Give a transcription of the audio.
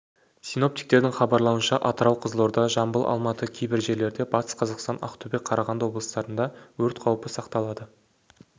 синоптиктердің хабарлауынша атырау қызылорда жамбыл алматы кейбір жерлерде батыс қазақстан ақтөбе қарағанды облыстарында өрт қаупі сақталады